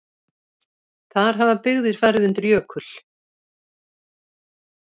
Þar hafa byggðir farið undir jökul.